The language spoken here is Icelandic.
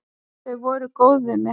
Þau voru voða góð við mig.